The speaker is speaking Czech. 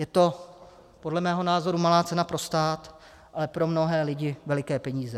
Je to podle mého názoru malá cena pro stát, ale pro mnohé lidi veliké peníze.